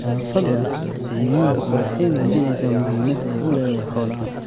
Nadaafadda deegaanku waxay muujinaysaa muhiimadda ay u leedahay xoolaha.